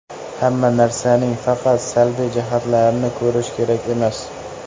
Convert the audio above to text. Hamma narsaning faqat salbiy jihatlarini ko‘rish kerak emas.